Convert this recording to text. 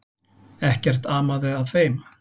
Ekkert amaði að þeim.